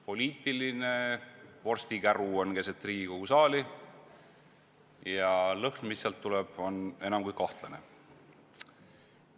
Poliitiline vorstikäru on keset Riigikogu saali ja lõhn, mis sealt tuleb, on enam kui kahtlane.